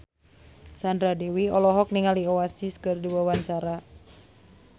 Sandra Dewi olohok ningali Oasis keur diwawancara